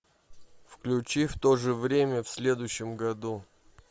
включи в то же время в следующем году